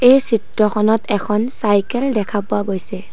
এই চিত্ৰখনত এখন চাইকেল দেখা পোৱা গৈছে।